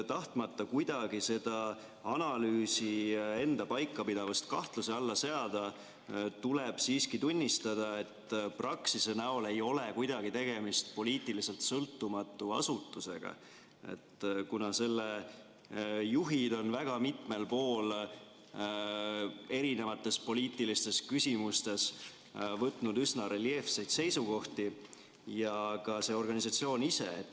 Tahtmata kuidagi analüüsi enda paikapidavust kahtluse alla seada, tuleb siiski tunnistada, et Praxis ei ole poliitiliselt sõltumatu asutus, kuna selle juhid on väga mitmel pool võtnud erinevates poliitilistes küsimustes üsna reljeefseid seisukohti, samuti see organisatsioon ise.